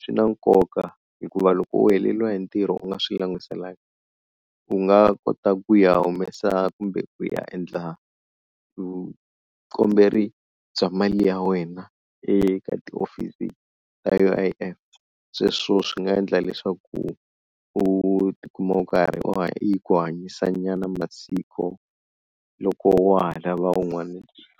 swi na nkoka hikuva loko u heleriwa hi ntirho u nga swi langutiselanga u nga kota ku ya humesa kumbe ku ya endla vukomberi bya mali ya wena eka tihofisi ta U_I_F, sweswo swi nga endla leswaku u tikuma u karhi u ku hanyisa nyana masiku loko wa ha lava un'wani ntirho.